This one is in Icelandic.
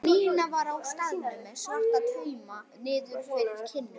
Nína var á staðnum með svarta tauma niður eftir kinnunum.